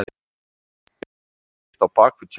Eitthvað gerist á bak við tjöldin